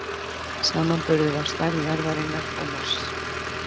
Samanburður á stærð jarðarinnar og Mars.